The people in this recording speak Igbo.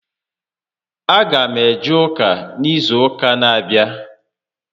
A gam eje ụka n'izu ụka n'abịa